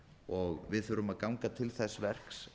og við þurfum að ganga til þess verks